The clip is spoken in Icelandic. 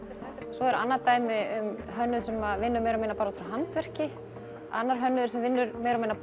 svo er annað dæmi um hönnuð sem vinnur meira og minna út frá handverki annar hönnuður sem vinnur meira og minna